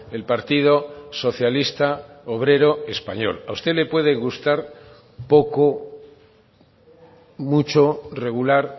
el partido socialista obrero español a usted le puede gustar poco mucho regular